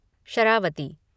Sharavati